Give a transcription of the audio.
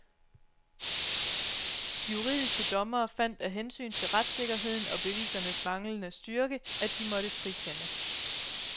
De juridiske dommere fandt af hensyn til retssikkerheden og bevisernes manglende styrke, at de måtte frikende.